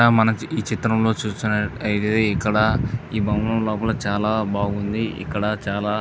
ఇక్కడ మనం ఈ చిత్రం లో చూస్తునట్ అయితే ఇక్కడ ఈ భవనం లోపల చాలా బాగుంది. ఇక్కడ చాలా--